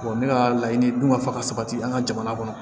ne ka laɲini dun ka fa ka sabati an ka jamana kɔnɔ